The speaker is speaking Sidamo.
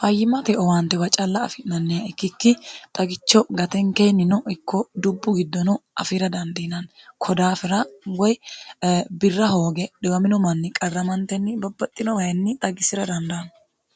fayyimmate owaantewa calla afi'nanniha ikkikki xagicho gatenkeenni no ikko dubbu giddono afira dandiinanni ko daafira woy birra hooge dhiwamino manni qarramantenni babbaxxino wayinni xagisira dandaanno